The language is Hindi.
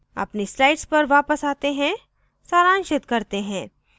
अपनी slides पर वापस आते हैं सारांशित करते हैं